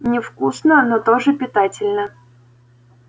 невкусно но тоже питательно